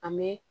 An bɛ